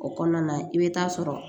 O kɔnɔna i bɛ taa sɔrɔ